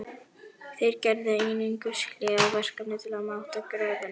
Þeir gerðu einungis hlé á verkinu til að máta gröfina.